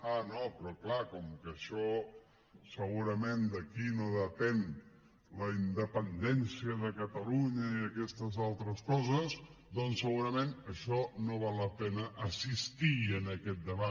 ah no però clar com que segurament d’aquí no depèn la independència de catalunya i aquestes altres coses doncs segurament no val la pena assistir en aquest debat